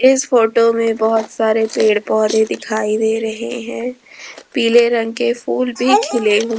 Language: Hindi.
इस फोटो में बहोत सारे पेड़ पौधे दिखाई दे रहे हैं पीले रंग के फूल भी खिले हुए।